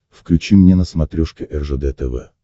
включи мне на смотрешке ржд тв